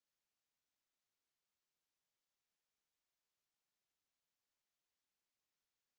এই linkএ উপলব্ধ videothe দেখুন এটি spoken tutorial প্রকল্পটিকে সারসংক্ষেপে বোঝায়